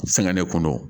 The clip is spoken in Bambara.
Sɛgɛn de kun don